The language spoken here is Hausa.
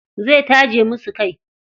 Zai taje musu kai.